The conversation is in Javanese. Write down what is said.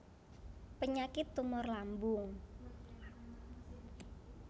Penyakit tumor lambung